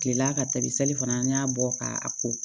Kilela ka tabi sali fana n y'a bɔ ka a ko